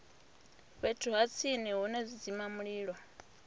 fhethu ha tsini hune zwidzimamulilo